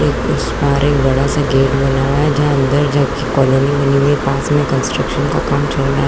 और उस पार एक बड़ा सा गेट बना हुआ है जहां अंदर कॉलोनी बनी हुई है पास में कंस्ट्रक्शन का कम चल रहा है।